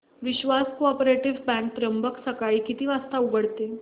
विश्वास cooperative bank Trimbak सकाळी किती वाजता उघडते